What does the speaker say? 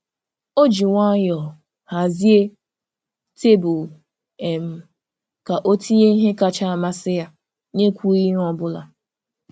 O ji nwayọọ hazie tebụl um ka ọ tinye ihe kacha amasị ya n’ekwughị ihe ọ bụla.